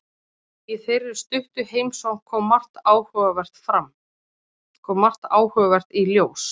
Í þeirri stuttu heimsókn kom margt áhugavert í ljós.